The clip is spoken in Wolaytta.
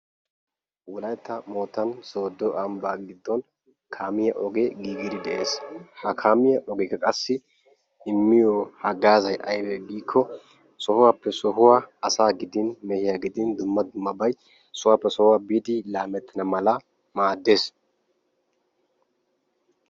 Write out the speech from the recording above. Wolaytta moottan Sooddo ambba giddon kaamiyaa ogee giigiide de'ees. ha kaamekka immiyo hagazzay aybbe giiko meehiyaa gidin asa gidin sohuwappe sohuwappe biidi laametana mala maaddees.